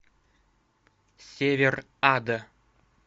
север ада